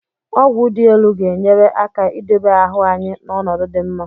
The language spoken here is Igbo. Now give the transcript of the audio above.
Ọgwụ dị elu ga-enyere aka idobe ahụ anyị n'ọnọdụ dị mma.